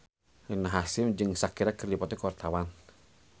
Rina Hasyim jeung Shakira keur dipoto ku wartawan